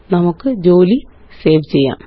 നമുക്ക് ജോലി സേവ് ചെയ്യാം